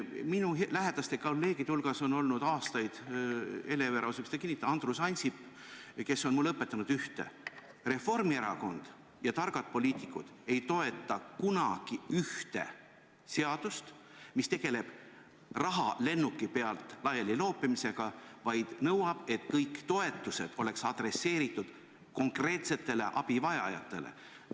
Minu lähedaste kolleegide hulgas on olnud aastaid – Hele Everaus võib seda kinnitada – Andrus Ansip, kes on mulle õpetanud ühte: Reformierakond ja üldse targad poliitikud ei toeta kunagi seadust, mis tegeleb raha lennuki pealt laialiloopimisega, vaid nõuab, et kõik toetused oleks adresseeritud konkreetsetele abivajajatele.